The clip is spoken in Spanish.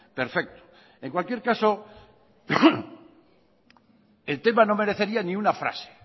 perfecto en cualquier caso el tema no merecería ni una frase